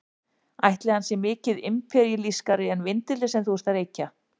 Ætli hann sé mikið imperíalískari en vindillinn sem þú ert að reykja?